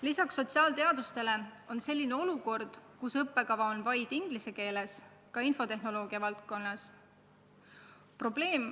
Lisaks sotsiaalteadustele on selline olukord, kus õppekava on vaid inglise keeles, ka infotehnoloogia valdkonnas.